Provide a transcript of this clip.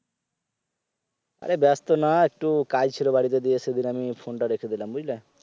অরে ব্যাস্ত না একটু কাজ ছিল বাড়িতে দিয়ে সেদিন আমি phone টা রেখে দিলাম বুঝলে